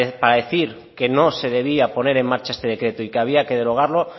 para decir que no se debía poner en marcha este decreto y que había que derogarlo